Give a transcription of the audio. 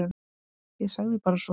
Ég sagði bara svona.